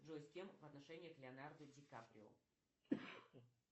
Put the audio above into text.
джой с кем в отношениях леонардо ди каприо